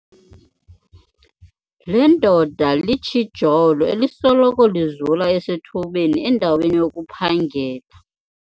Le ndoda litshijolo elisoloko lizula esithubeni endaweni yokuphangela.